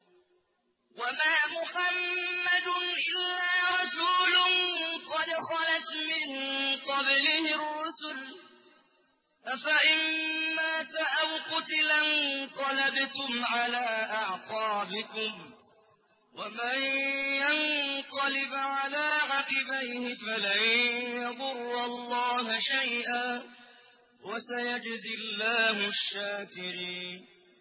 وَمَا مُحَمَّدٌ إِلَّا رَسُولٌ قَدْ خَلَتْ مِن قَبْلِهِ الرُّسُلُ ۚ أَفَإِن مَّاتَ أَوْ قُتِلَ انقَلَبْتُمْ عَلَىٰ أَعْقَابِكُمْ ۚ وَمَن يَنقَلِبْ عَلَىٰ عَقِبَيْهِ فَلَن يَضُرَّ اللَّهَ شَيْئًا ۗ وَسَيَجْزِي اللَّهُ الشَّاكِرِينَ